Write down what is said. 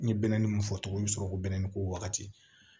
N ye bɛɛni mun fɔ tugun i bɛ sɔrɔ k'o bɛ nɛnin ko wagati